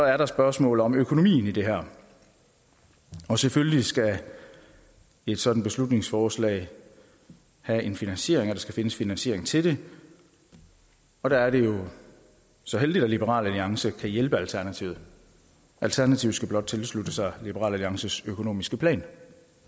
er der spørgsmålet om økonomien i det her og selvfølgelig skal et sådant beslutningsforslag have en finansiering der skal findes finansiering til det og der er det jo så heldigt at liberal alliance kan hjælpe alternativet alternativet skal blot tilslutte sig liberal alliances økonomiske plan